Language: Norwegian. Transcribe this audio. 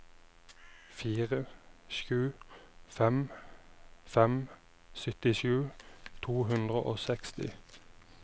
fire sju fem fem syttisju to hundre og seksti